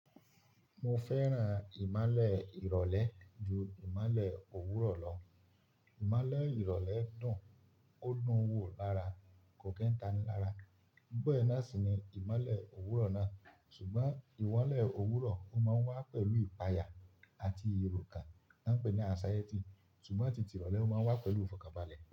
Mo fẹ́ràn ìmálẹ̀ ìrọ̀lẹ́ ju ìmálẹ̀ òwúrọ̀ lọ. Ìmolẹ̀ ìrọ̀lẹ́ dùn, ó dun un wò lára, kò kí n tani lára. Bẹ́ẹ̀ náà sì ni ìmolẹ̀ òwúrọ̀ náà. Sùgbọ́n ìmolẹ̀ òwúrọ̀ ó máa ń wá pẹ̀lú ìpayà àti ìròkàn ti won pe ní anxiety, sùgbọ́n tìtì ìrọ̀lẹ́ máa ń wá pẹ̀lú ìfọ̀kànbàlẹ̀